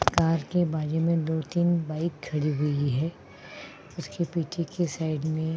car के बाजू में दो तीन बाइक खड़ी हुवीं है उसके पीछे कि साइड में --